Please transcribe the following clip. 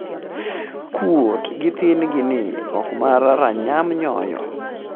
kuot gi thin gi ni oko mar ranyam nyoyo